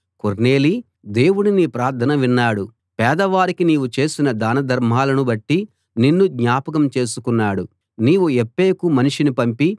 కొర్నేలీ దేవుడు నీ ప్రార్థన విన్నాడు పేదవారికి నీవు చేసిన దానధర్మాలను బట్టి నిన్ను జ్ఞాపకం చేసుకున్నాడు నీవు యొప్పేకు మనిషిని పంపి